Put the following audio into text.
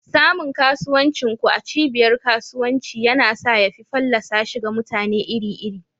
Samun kasuwancin ku a cibiyar kasuwanci yana sa ya fi fallasa shi ga mutane iri-iri.